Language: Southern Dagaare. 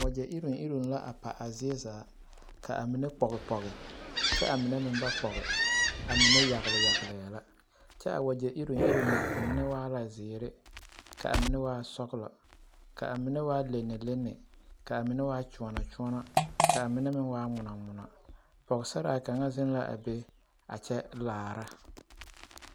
wagya yireŋ yireŋ la pa a zie zaa ka a mine pɔge pɔge kyɛ a mine meŋ ba pɔge a mine yaŋle yaŋle la kyɛ a wagya yireŋ yireŋ nyɛ a mine e la ziire ka a mine waa sɔŋlɔ ka a mine waa lenelene ka mine waa kyoonokyoone ka mine meŋ waa ŋmɔnoŋmɔno pɔgesare kaŋa ziŋ la be kyɛ laare.